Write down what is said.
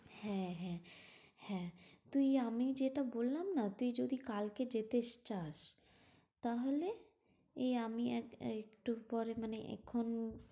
হ্যাঁ হ্যাঁ হ্যাঁ। তুই আমি যেটা বললাম না তুই যদি কালকে যেতেস~চাস তাহলে এই আমি এক~একটু পরে মানে এখন